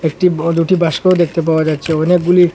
একটি ব দুটি বাস্কও দেখতে পাওয়া যাচ্ছে অনেকগুলি--